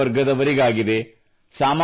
ಮಧ್ಯಮವರ್ಗದವರಿಗಾಗಿದೆ